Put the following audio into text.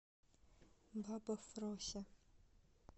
баба фрося